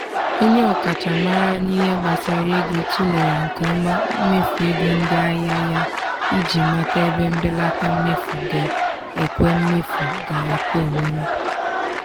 onye ọkachamara n'ihe gbasara ego tụlere nke ọma mmefu ego ndị ahịa ya iji mata ebe mbelata mmefu ga-ekwe mmefu ga-ekwe omume.